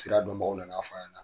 Sira dɔnbagaw nan'a fɔ an ɲɛ na.